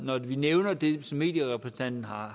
når vi nævner det som medierepræsentanten har